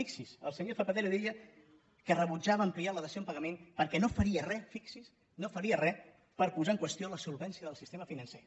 fixin s’hi el senyor zapatero deia que rebutjava ampliar la dació en pagament perquè no faria re fixin s’hi no faria re per posar en qüestió la solvència del sistema financer